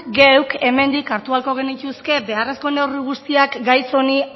geuk hemendik hartu beharko genituzke beharrezko neurri guztiak gaitz honi